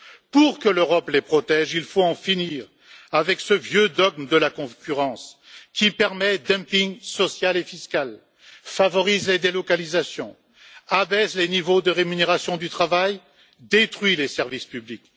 Pour que l'Europe les protège, il faut en finir avec ce vieux dogme de la concurrence qui permet dumping social et fiscal, favorise les délocalisations, abaisse les niveaux de rémunération du travail, détruit les services publics.